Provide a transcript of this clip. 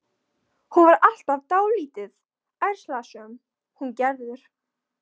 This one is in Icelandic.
Hún var alltaf dálítið ærslasöm, hún Gerður.